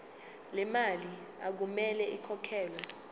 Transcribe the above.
lemali okumele ikhokhelwe